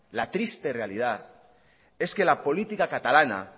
la triste realidad es que la política catalana